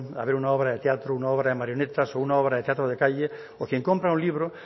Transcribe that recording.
a ver una obra de teatro una obra de marionetas o una obra de teatro de calle o quien compra un libro